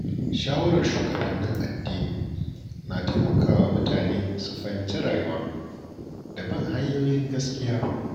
Shawarar shugabannin addini na taimakawa mutane su fahimci rayuwa da bin hanyoyin gaskiya.